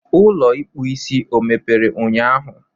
Ụlọ ịkpụ isi ọ emepere ụnyahụ?